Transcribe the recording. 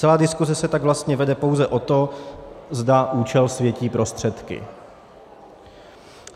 Celá diskuse se tak vlastně vede pouze o tom, zda účel světí prostředky.